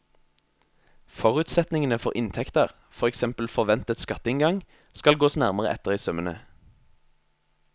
Forutsetningene for inntekter, for eksempel forventet skatteinngang, skal gås nærmere etter i sømmene.